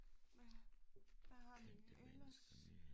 Hvad hvad har vi ellers?